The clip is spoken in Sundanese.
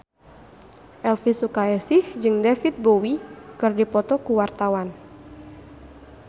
Elvy Sukaesih jeung David Bowie keur dipoto ku wartawan